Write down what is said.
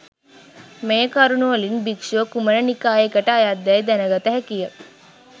මේ කරුණුවලින් භික්ෂුව කුමන නිකායකට අයත්දැයි දැනගත හැකිය